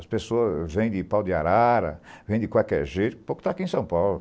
As pessoas vêm de pau de arara, vêm de qualquer jeito para o que está aqui em São Paulo.